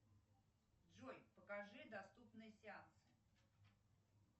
джой покажи доступные сеансы